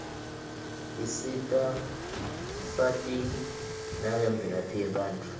isita sati nangemvelaphi yebatfu